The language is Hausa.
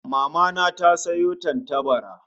Mama na ta sayo tantabara